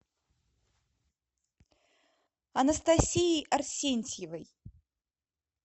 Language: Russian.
анастасией арсентьевой